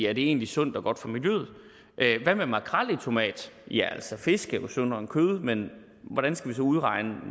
er det egentlig sundt og godt for miljøet hvad med makrel i tomat ja altså fisk er jo sundere end kød men hvordan skal vi så udregne